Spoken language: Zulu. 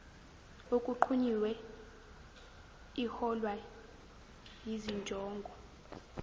okunqunyiwe iholwa yizinjongo